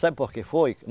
Sabe por que foi?